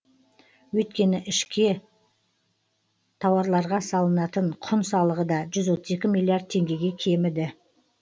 өйткені ішке тауарларға салынатын құн салығы да жүз отыз екі миллиард теңгеге кеміді